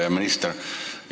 Hea minister!